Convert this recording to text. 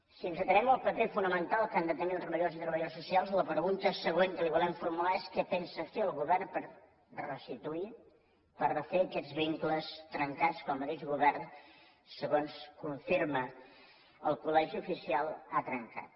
si ens atenem al paper fonamental que han de tenir els treballadors i treballadores socials la pregunta següent que li volem formular és què pensa fer el govern per restituir per refer aquests vincles trencats que el mateix govern segons confirma el col·legi oficial ha trencat